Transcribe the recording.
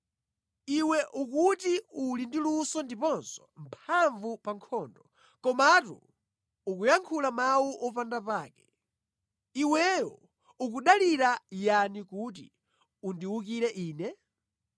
Iwe ukuti uli ndi luso ndiponso mphamvu pa nkhondo, komatu ukuyankhula mawu opanda pake. Kodi tsono iwe ukudalira yani kuti undiwukire ine?